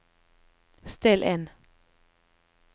still inn